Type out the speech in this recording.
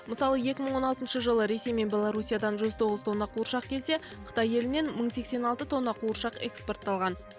мысалы екі мың он алтыншы жылы ресей мен белорусиядан жүз тоғыз тонна қуыршақ келсе қытай елінен мың сексен алты тонна қуыршақ экспортталған